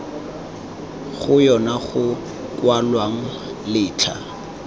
go yona go kwalwang letlha